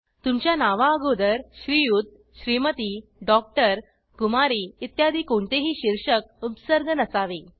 तुमच्या नवा अगोदर श्रियुत श्रीमती डॉक्टर कुमारी इत्यादी कोणतेही शीर्षक उपसर्ग नसावे